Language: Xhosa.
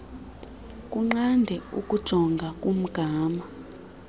kunqande ukujonga kumgama